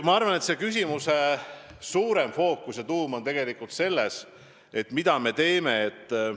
Ma arvan, et selle küsimuse olulisem fookus ja tuum on tegelikult see, mida me teeme seoses meeleavaldustega.